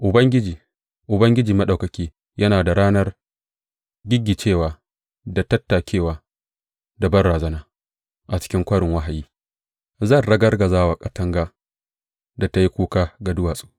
Ubangiji, Ubangiji Maɗaukaki, yana da ranar giggicewa da tattakewa da banrazana a cikin Kwarin Wahayi, ranar ragargazawar katanga da ta yin kuka ga duwatsu.